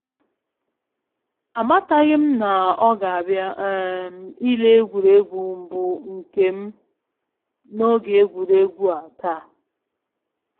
Amataghịm na ọ ga abịa um ile egwuregwu mbụ nkem na oge egwuregwu a taa